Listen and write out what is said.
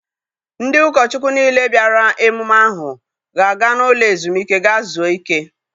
Ndị ụkọ Chukwu niile bịara emume ahụ ga-aga n'ụlọ ezumike gaa zuo ike.